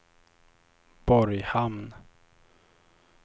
Borghamn